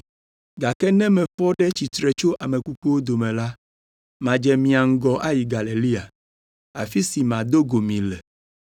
Gake ne mefɔ ɖe tsitre tso ame kukuwo dome la, madze mia ŋgɔ ayi Galilea, afi si mado go mi le.”